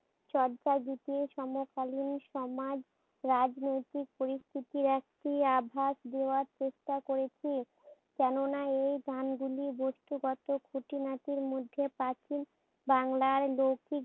চর্যাগীতি সমকালীন সমাজ, রাজনৈতিক পরিস্থিতির একটি আভাস দেওয়ার চেষ্টা করেছি। কেননা এই গুলি বস্তুগত খুটিনাটি মধ্যে প্রাচীন বাংলার লৌকিক